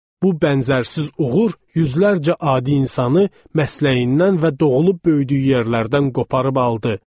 Bu bənzərsiz uğur yüzlərcə adi insanı məsləyindən və doğulub böyüdüyü yerlərdən qoparmağa qaldı.